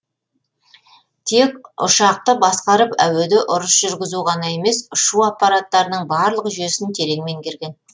тек ұшақты басқарып әуеде ұрыс жүргізу ғана емес ұшу аппараттарының барлық жүйесін терең меңгерген